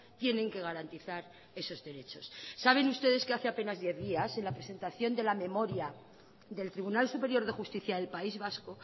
tienen que garantizar esos derechos saben ustedes que hace apenas diez días en la presentación de la memoria del tribunal superior de justicia del país vasco